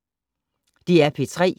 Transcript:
DR P3